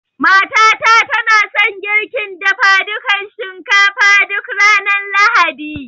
Mata ta na son girkin dafadukan shinkafa duk ranar Lahadi